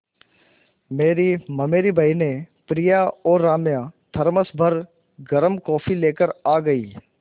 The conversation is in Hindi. मेरी ममेरी बहिनें प्रिया और राम्या थरमस भर गर्म कॉफ़ी लेकर आ गईं